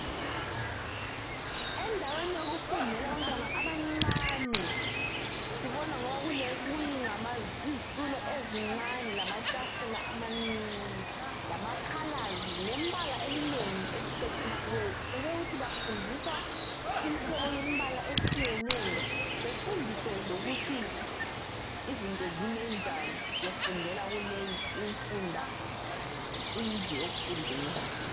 Endaweni yokufundela abantwana abancane, sibona ngokuyizitulo ezincane lama tafula amancuncuncu lamakhalazi lembala eminengi ececisiweyo kulokuthi bafundiswa imhlobo yembala etshiyeneyo. Befundiswe lokuthi izinto zime njani befundela kuleyi imfunda indlu yokufundela.